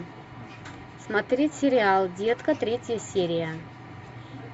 смотреть сериал детка третья серия